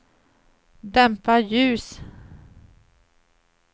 dämpa ljus